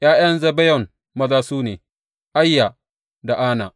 ’Ya’yan Zibeyon maza su ne, Aiya da Ana.